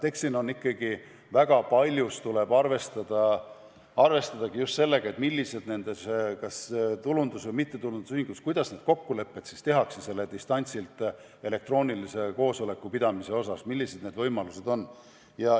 Eks ikkagi väga paljus tuleb arvestadagi just sellega, millised võimalused kas tulundus- või mittetulundusühingus on, kuidas lepitakse kokku elektroonilise koosoleku pidamise osas, millised need võimalused on.